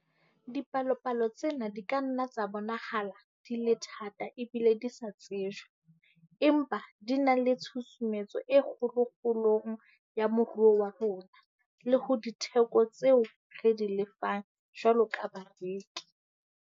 Dipalopalo tsena di ka nna tsa bonahala di le thata ebile di sa tsejwe, empa di na le tshusumetso e kgolo kgolong ya moruo wa rona le ho ditheko tseo re di lefang jwalo ka bareki.